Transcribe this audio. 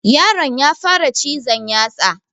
Yaron ya fara cizon yatsa